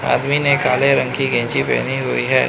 आदमी ने काले रंग की गेंजी पेहनी हुई है।